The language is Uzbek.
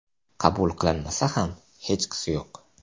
Qabul qilinmasa ham hechqisi yo‘q.